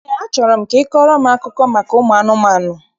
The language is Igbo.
Eé, achọrọ m ka ị kọọrọ m akụkọ maka ụmụ anụmanụ.